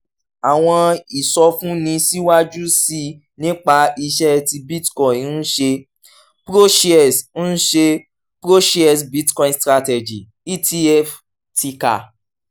um àwọn ìsọfúnni síwájú sí i nípa iṣẹ́ tí bitcoin ń ṣe: proshares ń ṣe: proshares bitcoin strategy etf (ticker